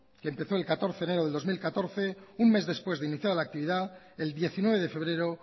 que empezó el catorce de enero de dos mil catorce un mes después de iniciada la actividad el diecinueve de febrero